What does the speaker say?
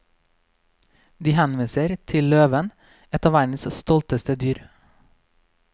De henviser til løven, et av verdens stolteste dyr.